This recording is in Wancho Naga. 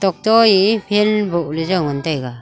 to ye phan boh le jau ngan tega.